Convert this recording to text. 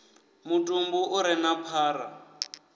mutumbu u re na phara